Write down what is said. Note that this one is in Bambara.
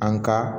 An ka